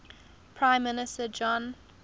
prime minister john